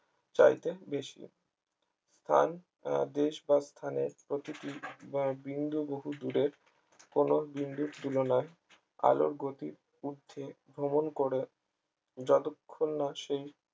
চাইতে বেশি আর দেশ বা স্থানের প্রতিটি বিন্দু বহু দূরের কোন বিন্দুর তুলনায় আলোর গতির উর্ধ্বে ভ্রমন করে যতক্ষণ না সেই